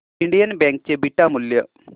Indian bank चे beta मूल्य